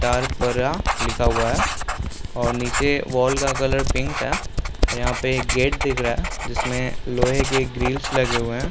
तारपारा लिखा हुआ है और निचे वाल का कलर पिंक है और यहाँ पे एक गेट दिख रहा है जिसमें लोहै के ग्रिल्स लगे हुए है।